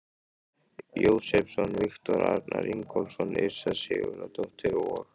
Jósepsson, Viktor Arnar Ingólfsson, Yrsa Sigurðardóttir og